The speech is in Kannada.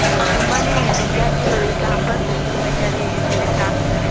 ಆ ತುಂಬಾನೇ ವಿದ್ಯಾರ್ಥಿಗಳಿಗೆ ಕ್ಯಾಂಪಸ್ ರಿಕ್ರೂಟ್ಮೆಂಟ್ ನಲ್ಲಿ ಸೆಲೆಕ್ಟ್ ಆಗ್ತಾರೆ.